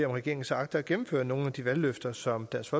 om regeringen så agter at gennemføre nogle af de valgløfter som dansk